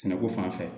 Sɛnɛko fan fɛ